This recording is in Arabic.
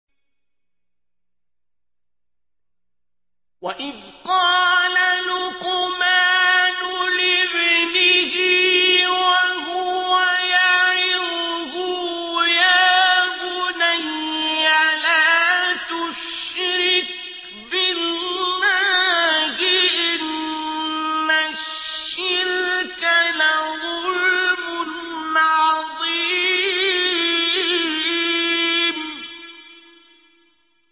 وَإِذْ قَالَ لُقْمَانُ لِابْنِهِ وَهُوَ يَعِظُهُ يَا بُنَيَّ لَا تُشْرِكْ بِاللَّهِ ۖ إِنَّ الشِّرْكَ لَظُلْمٌ عَظِيمٌ